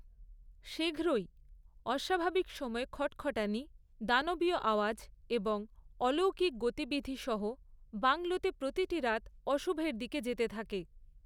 শীঘ্রই, অস্বাভাবিক সময়ে খটখটানি, দানবীয় আওয়াজ এবং অলৌকিক গতিবিধি সহ বাংলোতে প্রতিটি রাত অশুভের দিকে যেতে থাকে।